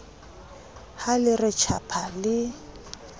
ha le re tjhapa le